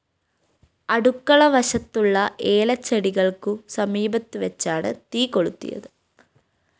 അടുക്കള വശത്തുള്ള ഏലച്ചെടികള്‍ക്കു സമീപത്തുവച്ചാണ് തീകൊളുത്തിയത്